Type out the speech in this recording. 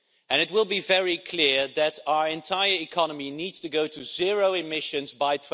It will be very clear that our entire economy needs to go to zero emissions by